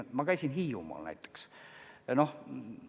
Ma käisin näiteks Hiiumaal.